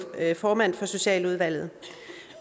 formand for socialudvalget